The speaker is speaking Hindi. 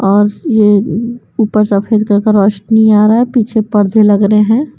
और यह ऊपर सफेद कलर का रौशनी आ रहा है पीछे पर्दे लग रहे हैं।